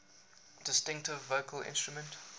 distinctive vocal instrument